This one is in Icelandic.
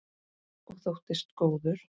Og þóttist góð.